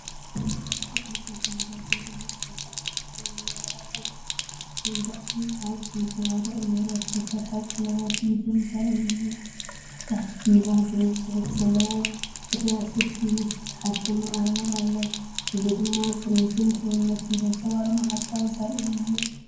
እዚ ዕንጨይቲ መደርደሪ ምስ ዝተዓጽፈ ናይ ወረቐት መንጸፍን ካብ ዘንጸባርቕ ንብረት ዝተሰርሐ ቀለቤት ኢድን ዘርኢ እዩ። ኣብ ታሕቲ “ቪቫ”ዝብል ጽሑፍ ዘለዎ ፍርያት ሶፍቲ ምስ ዝተሓትመ ኣርማ ኣሎ። እዚ ድማ ጽሬትን ድልውነትን ዘንጸባርቕ መዓልታዊ ዘርኢ እዩ።